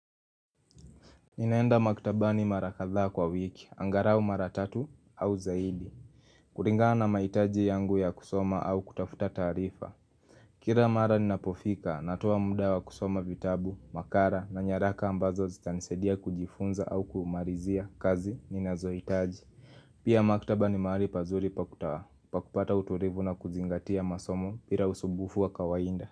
Ninaenda maktabani marakadhaa kwa wiki, angalau maratatu au zaidi kulingana maitaji yangu ya kusoma au kutafuta taarifa Kila mara ninapofika, natowa muda wa kusoma vitabu, makara na nyaraka ambazo zitanisaidia kujifunza au kumalizia kazi, ninazoitaji Pia maktaba ni maali pazuri pakuta, pakupata uturivu na kuzingatia masomo pira usubufu wa kawainda.